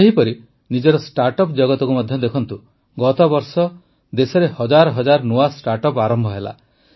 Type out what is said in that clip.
ସେହିପରି ନିଜର ଷ୍ଟାର୍ଟଅପ୍ ଜଗତକୁ ମଧ୍ୟ ଦେଖନ୍ତୁ ଗତବର୍ଷ ଦେଶରେ ହଜାର ହଜାର ନୂଆ ଷ୍ଟାର୍ଟଅପ୍ ଆରମ୍ଭ ହେଲା